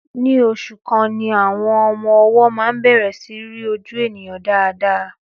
Ní oṣù kan ni àwọn ọmọ-ọwọ máa ń bẹ̀rẹ̀ sí í rí ojú ènìyàn dáadáa.